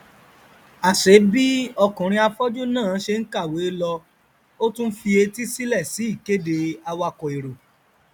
àṣé bí ọkùnrin afọjú náà ṣe nkàwé lọ ó tún fi etí sílẹ sí ìkéde awakọ èrò